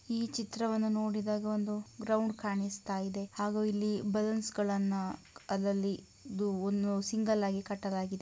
ಈ ಚಿತ್ರವನ್ನು ನೋಡಿದಾಗ ಒಂದು ಗ್ರೌಂಡ್ ಕಣಿಸ್ತಾ ಇದೆ ಹಾಗೂ ಇಲ್ಲಿ ಬಲಲೋನ್ಸಗಳನ್ನು ಅದರಲ್ಲಿ ಇದು ಒಂದು ಸಿಂಗಲ್ ಹಾಗಿ ಕಟ್ಟಲಾಗಿದೆ.